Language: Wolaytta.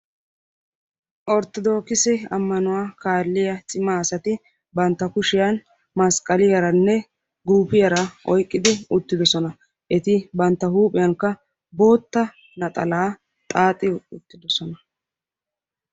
Orttodoogise ammanuwa kaalliya cima asati bantta kushiyan masqqaliyaranne guufiyara oyiqqidi uttidosona. Eti bantta huuphiyankka bootta naxalaa xaaxi uttidosona.